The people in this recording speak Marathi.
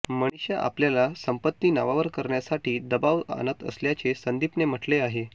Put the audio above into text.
मनिषा आपल्याला संपत्ती नावावर करण्यासाठी दबाव आणत असल्याचे संदीपने म्हटले आहे